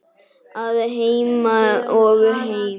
Að heiman og heim.